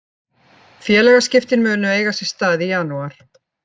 Félagaskiptin munu eiga sér stað í janúar.